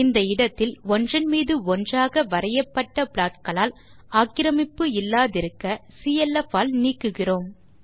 இந்த இடத்தில் ஒன்றின் மீது ஒன்றாக வரையப்பட்ட ப்லாட்களால் ஆக்கிரமிப்பு இல்லாதிருக்க clf ஆல் நீக்குகிறோம்